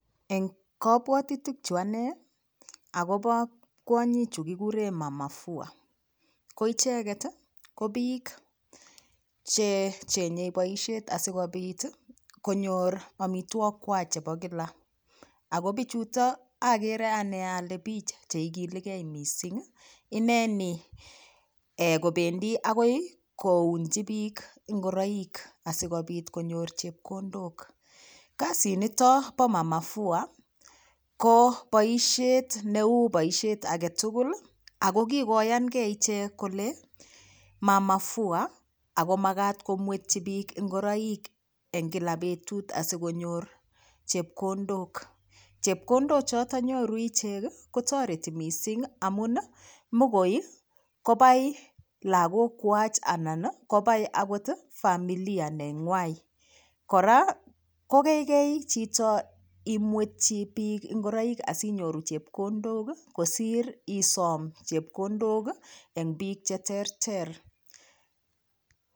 Eng kapwotutik chu ane akobo kwonyi chu kikure mama fua ko icheget ko piik chechenyei boishet asikopit konyor omitwokikwach chebo kila ako pichuto agere ane ale piich cheikiligei mising ineni kobendi akoi kounchi piik ngoroik asikopit konyor chepkondok Kasi nito bo mama fua ko boishet neu boishet agetugul ako kikoyangei iche kole mama fua ako makat komwetyi piik ngoroik eng kila betut asikonyor chepkondok, chepkondok choto nyoru iche kotoreti mising amun mikoi kobai lakokwach anan kobai akot familia neng'wai kora kokeikei chito imwetchi piik ngoroik asinyoru chepkondok kosir isom chepkondok eng piik cheterter